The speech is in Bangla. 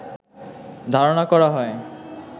ধারনা করা হয়